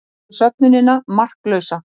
Telur söfnunina marklausa